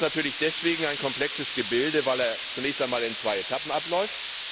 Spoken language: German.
Der Haushalt ist natürlich deswegen ein komplexes Gebilde, weil er zunächst einmal in zwei Etappen abläuft.